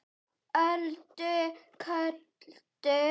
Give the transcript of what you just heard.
Öldu köldu